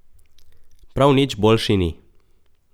Prav nič boljši ni!